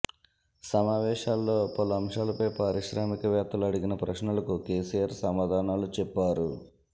సమావేశాల్లో పలు అంశాలపై పారిశ్రామికవేత్తలు అడిగిన ప్రశ్నలకు కెసిఆర్ సమాధానాలు చెప్పారు